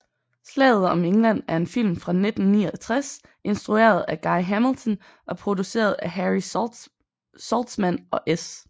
Slaget om England er en film fra 1969 instrueret af Guy Hamilton og produceret af Harry Saltzman og S